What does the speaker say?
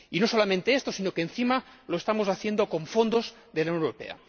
Y no solamente esto, sino que, encima, lo estamos haciendo con fondos de la Unión Europea.